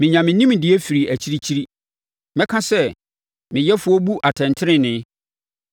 Menya me nimdeɛ firi akyirikyiri; mɛka sɛ me Yɛfoɔ bu atɛntenenee.